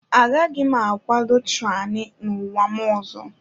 Agaghị m akwado tyranny n'ụwa m ọzọ.